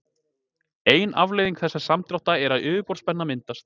Ein afleiðing þessa samdráttar er að yfirborðsspenna myndast.